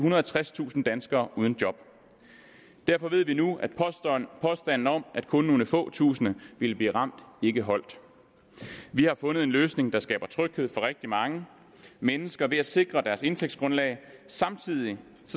og halvtredstusind danskere uden job derfor ved vi nu at påstanden om at kun nogle få tusinde ville blive ramt ikke holdt vi har fundet en løsning der skaber tryghed for rigtig mange mennesker ved at sikre deres indtægtsgrundlag samtidig